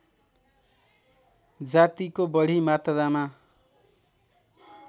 जातिको बढी मात्रामा